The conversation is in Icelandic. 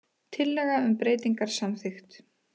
Tillaga um breytingar samþykkt